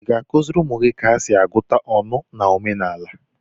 Ị ga-akụziri ụmụ gị ka esi agụta ọnụ na omenala?